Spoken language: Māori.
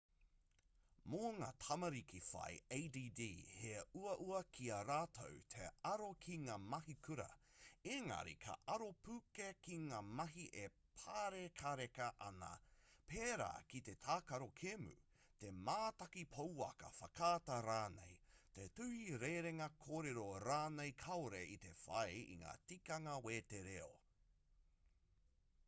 mō ngā tamariki whai add he uaua ki a rātou te aro ki ngā mahi kura engari ka aro pū kē ki ngā mahi e pārekareka ana pērā ki te tākaro kēmu te mātaki pouaka whakaata rānei te tuhi rerenga kōrero rānei kāore i te whai i ngā tikanga wetereo